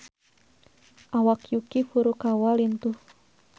Awak Yuki Furukawa lintuh